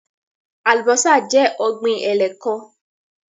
Alubọ́sá jẹ́ ọ̀gbín ẹ̀lẹ́kán